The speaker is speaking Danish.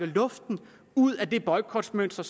luften ud af det boykotmønster